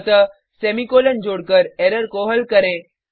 अतः सेमीकॉलन जोड़कर एरर को हल करें